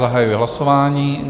Zahajuji hlasování.